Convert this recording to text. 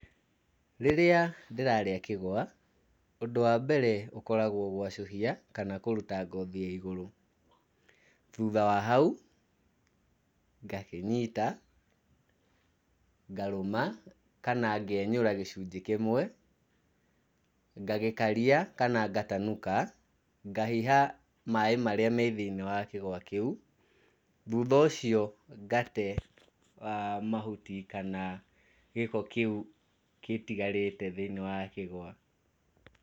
Rĩrĩa ndĩrarĩa kĩgwa, ũndũ wa mbere ũkoragwo gwacũhia kana kũruta ngothi ya igũrũ. Thutha wa hau, ngakĩnyita ngarũma kana ngenyũra gĩcunjĩ kĩmwe, ngagĩkaria kana ngatanuka, ngahiha maĩ marĩa me thĩiniĩ wa kĩgwa kĩu. Thutha ũcio ngate mahuti kana gĩko kĩu gĩtigarĩte thĩiniĩ wa kĩgwa.